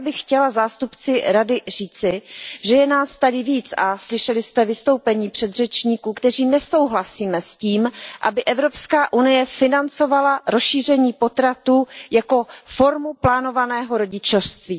Já bych chtěla zástupci Rady říci, že je nás tady víc a slyšeli jste vystoupení předřečníků, kteří nesouhlasí s tím, aby Evropská unie financovala rozšíření potratů jako formu plánovaného rodičovství.